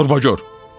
Gorbagor.